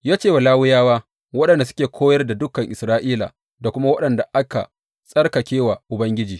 Ya ce wa Lawiyawa waɗanda suke koyar da dukan Isra’ila da kuma waɗanda aka tsarkake wa Ubangiji.